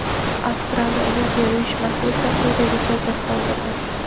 Avstraliya Olimpiya uyushmasi esa quyidagicha izoh qoldirdi:.